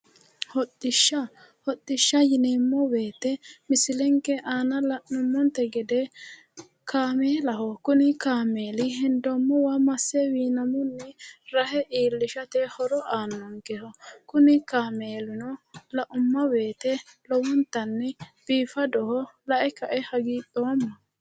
Hodhishsha! Hodhishsha yineemmo woyite misilenke aana la'nummonte gede kameelaho, kuni kameelino hendoommowa masse wiinamunni rahe iillishate horo aannonkeho. kuni kameelino laumma woyite lowontanni biifadoho. lae kae hagiidhoomma.